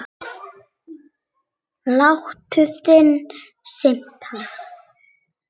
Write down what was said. Hlátur þinn smitar.